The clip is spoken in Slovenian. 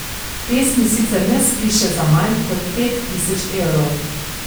Pesmi sicer ne spiše za manj kot pet tisoč evrov.